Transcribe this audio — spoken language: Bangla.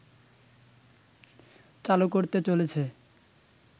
চালু করতে চলেছে